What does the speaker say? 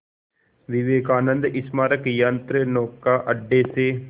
विवेकानंद स्मारक यंत्रनौका अड्डे से